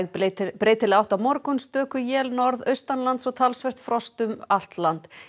breytileg átt á morgun stöku él norðaustanlands og talsvert frost um allt land